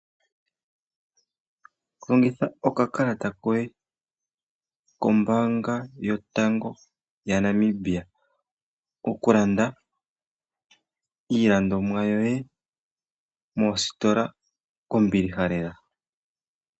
Longitha okakalata koye kombaanga yotango yaNamibia okulanda iilandomwa yoye moositola kombiliha lela.